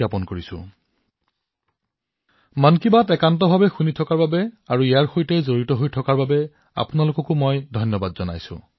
এনে এক সুন্দৰ ৰূপৰ সৈতে মন কী বাতক ঘনিষ্ঠভাৱে অনুসৰণ কৰাৰ বাবে মই আপোনালোকলৈ বহুত ধন্যবাদ জনাইছো আৰু আপোনালোক ইয়াত জড়িত হৈ আছে